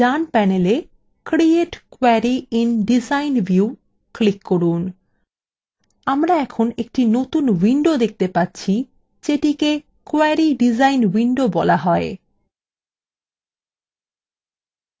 done panela create query in design view click করুন আমরা এখন একটি নতুন window দেখতে পাচ্ছি যেটিকে query ডিজাইন window বলা হয়